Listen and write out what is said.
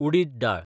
उडीत दाळ